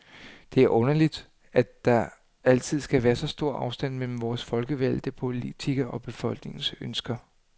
Det er underligt, at der altid skal være så stor afstand mellem vore folkevalgte politikere og befolkningens ønsker.